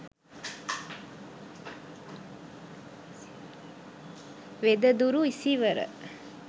wedaduru isiwara